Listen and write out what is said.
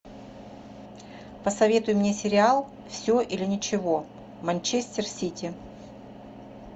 посоветуй мне сериал все или ничего манчестер сити